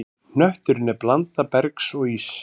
Hnötturinn er blanda bergs og íss.